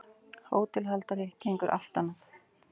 Hótelhaldari gengur aftan að